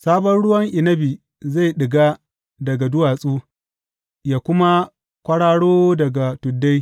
Sabon ruwan inabi zai ɗiga daga duwatsu yă kuma kwararo daga tuddai.